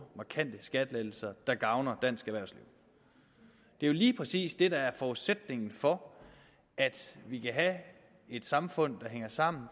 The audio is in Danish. markante skattelettelser der gavner dansk erhvervsliv det er jo lige præcis det der er forudsætningen for at vi kan have et samfund der hænger sammen